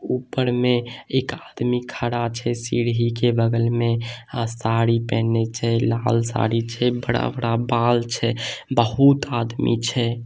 ऊपर में एक आदमी खड़ा छै सीडी के बगल में आ साडी पहनने छै लाल साडी छै बड़ा-बड़ा बाल छै बहोत आदमी छै--